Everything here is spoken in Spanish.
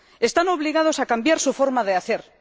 Están obligados a cambiar su forma de hacer.